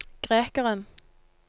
grekeren